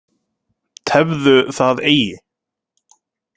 Tefðu það eigi.